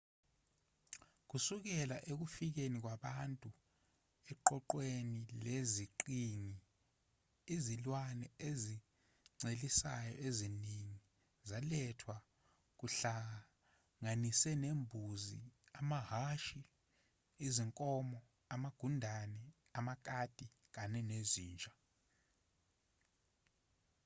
kusukela ekufikeni kwabantu eqoqweni leziqhingi izilwane ezincelisayo eziningi zalethwa kuhlanganise nezimbuzi amahhashi izinkomo amagundane amakati kanye nezinja